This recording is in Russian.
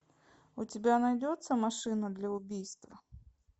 у тебя найдется машина для убийств